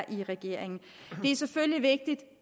i regeringen det er selvfølgelig vigtigt at